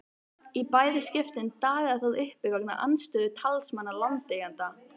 Í bæði skiptin dagaði það uppi vegna andstöðu talsmanna landeigenda.